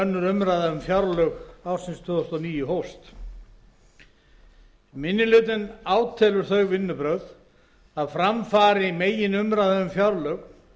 önnur umræða um fjárlög fyrir árið tvö þúsund og níu hófst minni hlutinn átelur þau vinnubrögð að fram fari meginumræða um fjárlög